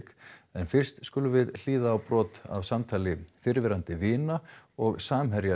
en fyrst skulum við hlýða á brot af samtali fyrrverandi vina og samherja